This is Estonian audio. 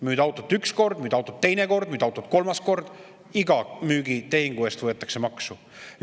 Müüd autot üks kord, müüd autot teine kord, müüd autot kolmas kord – iga müügitehingu eest võetakse maksu.